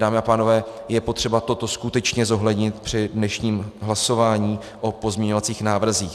Dámy a pánové, je potřeba toto skutečně zohlednit při dnešním hlasování o pozměňovacích návrzích.